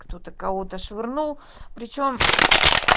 кто-то кого-то швырнул причём